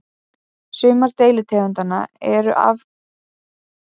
Sumar deilitegundanna eru alfriðaðar og veiðar á þeim eru algjörlega bannaðar.